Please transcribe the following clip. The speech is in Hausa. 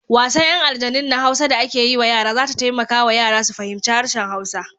Wasan 'yan aljanun na Hausa da ake yi wa yara za ta taimaka wa yara su fahimci harshen Hausa.